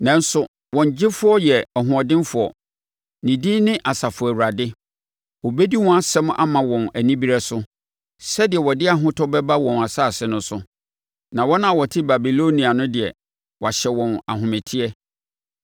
Nanso, wɔn Gyefoɔ yɛ ɔhoɔdenfoɔ; ne din ne Asafo Awurade. Ɔbɛdi wɔn asɛm ama wɔn anibereɛ so sɛdeɛ ɔde ahotɔ bɛba wɔn asase no so, na wɔn a wɔte Babilonia no deɛ, wahyɛ wɔn ahometeɛ.